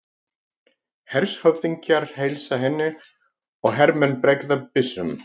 Hershöfðingjar heilsa henni og hermenn bregða byssum.